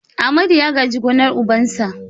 Amadu ya gaji gonar ubansa.